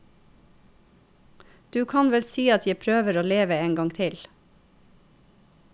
Du kan vel si at jeg prøver å leve en gang til.